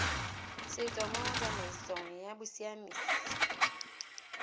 setso mo tsamaisong ya bosiamisi